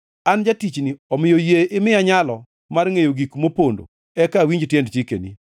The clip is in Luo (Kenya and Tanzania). An jatichni, omiyo yie imiya nyalo mar ngʼeyo gik mopondo eka awinj tiend chikeni.